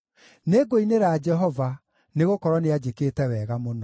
Nĩngũinĩra Jehova, nĩgũkorwo nĩanjĩkĩte wega mũno.